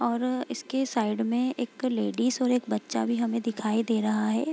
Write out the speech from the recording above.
और इसके साइड में एक लेडिस और एक बच्चा भी हमे दिखाई दे रहा है |